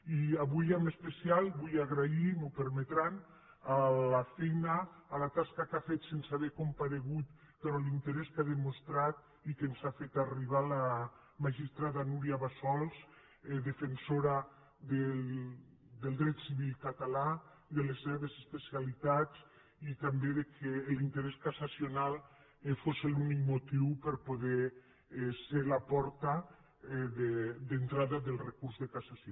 i avui en especial vull agrair m’ho permetran la tasca que ha fet sense haver comparegut però l’interès que ha demostrat i que ens ha fet arribar la magistrada núria bassols defensora del dret civil català i de les seves especialitats i també que l’interès cassacional fos l’únic motiu per a poder ser la porta d’entrada del recurs de cassació